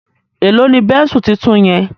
Èló ní Bẹ́ńsù títún yen?